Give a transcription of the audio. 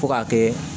Fo k'a kɛ